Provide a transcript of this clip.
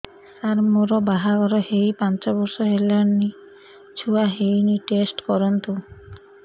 ସାର ମୋର ବାହାଘର ହେଇ ପାଞ୍ଚ ବର୍ଷ ହେଲାନି ଛୁଆ ହେଇନି ଟେଷ୍ଟ କରନ୍ତୁ